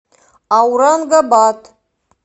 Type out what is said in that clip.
аурангабад